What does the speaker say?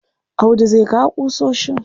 Audu zai kawo ƙusoshin.